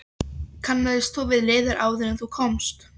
Kannaðist þú við liðið áður en þú komst?